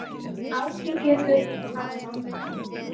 Áhyggjufull að vanda.